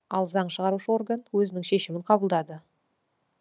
ал заң шығарушы орган өзінің шешімін қабылдады